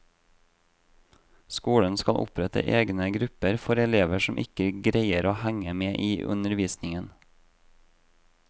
Skolen skal opprette egne grupper for elever som ikke greier å henge med i undervisningen.